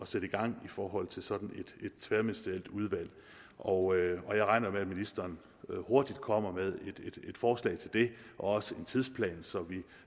sætte i gang i forhold til sådan et tværministerielt udvalg og jeg regner jo med at ministeren hurtigt kommer med et forslag til det og også en tidsplan så vi